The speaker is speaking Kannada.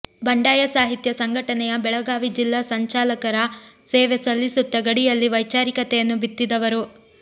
ಬಂಡಾಯ ಸಾಹಿತ್ಯ ಸಂಘಟನೆಯ ಬೆಳಗಾವಿ ಜಿಲ್ಲಾ ಸಂಚಾಲಕರಾಗಿ ಸೇವೆ ಸಲ್ಲಿಸುತ್ತ ಗಡಿಯಲ್ಲಿ ವೈಚಾರಿಕತೆಯನ್ನು ಬಿತ್ತಿದವರು